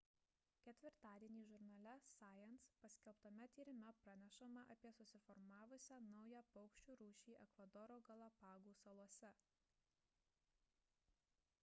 ketvirtadienį žurnale science paskelbtame tyrime pranešama apie susiformavusią naują paukščių rūšį ekvadoro galapagų salose